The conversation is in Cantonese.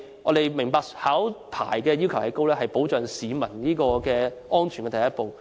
我們明白考牌要求高，是保障市民安全的第一步。